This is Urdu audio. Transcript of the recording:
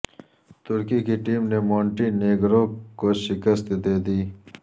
ترکی کی ٹیم نے مونٹی نیگرو کو شکست دے دی